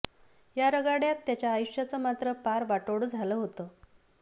या रगाड्यात त्याच्या आयुष्याचं मात्र पार वाटोळं झालं होतं